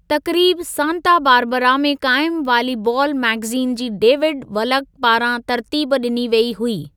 तक़रीब Santa Barbara में क़ाइमु वालीबालु मैगज़ीन जी डेविड वलक पारां तरतीब ॾिनी वेई हुई।